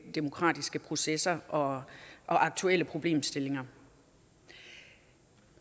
demokratiske processer og aktuelle problemstillinger